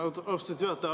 Austatud juhataja!